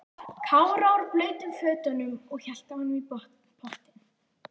Kára úr blautum fötunum og hélt á honum í pottinn.